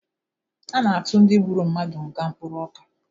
A na-atụ ndị gburu mmadụ nga mkpụrụ ọka